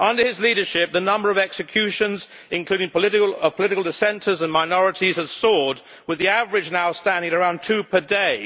Under his leadership, the number of executions, including of political dissenters and minorities, has soared, with the average now standing at around two per day.